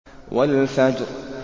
وَالْفَجْرِ